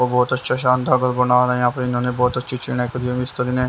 बहुत अच्छा शान दार बना यहाँ पर इन्होंने बहुत अच्छी करी मिस्त्री ने।